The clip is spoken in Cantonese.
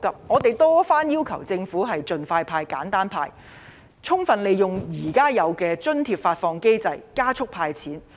我們多番要求政府盡快派、簡單派，充分利用現有的津貼發放機制，加速"派錢"。